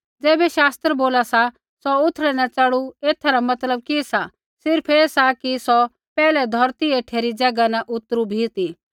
ज़ैबै शास्त्र बोला सा सौ उथड़ै न चढ़ु एथा रा मतलब कि सा सिर्फ़ ऐ सा कि सौ पैहलै धौरती हेठै री ज़ैगा न उतरु भी ती